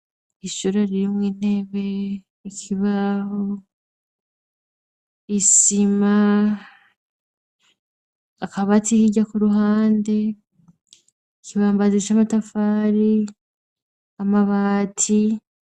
Ishure ririmwo intebe, ikibaho, isima, akabati hirya ku ruhande, ikibambazi c'amatafari, amabati.